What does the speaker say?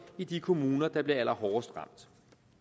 i de kommuner der bliver allerhårdest ramt